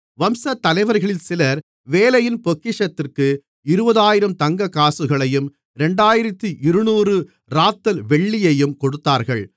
வம்சத்தலைவர்களில் சிலர் வேலையின் பொக்கிஷத்திற்கு 20000 தங்கக்காசுகளையும் 2200 ராத்தல் வெள்ளியையும் கொடுத்தார்கள்